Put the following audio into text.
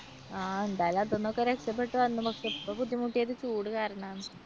എന്തായാലും അതിനൊക്കെ രക്ഷപെട്ടു വന്നു ഇപ്പൊ ബുദ്ധിമുട്ടിയത് ചൂടു കാരണമാണ്.